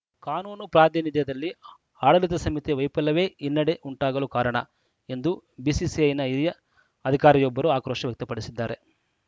ಕಾನೂನು ಪ್ರಾತಿನಿಧ್ಯದಲ್ಲಿ ಆಡಳಿತ ಸಮಿತಿಯ ವೈಫಲ್ಯವೇ ಹಿನ್ನಡೆ ಉಂಟಾಗಲು ಕಾರಣ ಎಂದು ಬಿಸಿಸಿಐನ ಹಿರಿಯ ಅಧಿಕಾರಿಯೊಬ್ಬರು ಆಕ್ರೋಶ ವ್ಯಕ್ತಪಡಿಸಿದ್ದಾರೆ